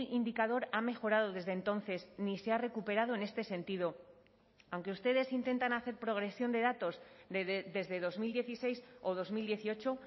indicador ha mejorado desde entonces ni se ha recuperado en este sentido aunque ustedes intentan hacer progresión de datos desde dos mil dieciséis o dos mil dieciocho